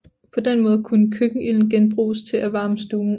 På den måde kunne køkkenilden genbruges til at varme stuen op